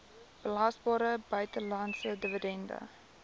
belasbare buitelandse dividend